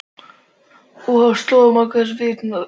Óhug sló á marga við þessi endurteknu ótíðindi.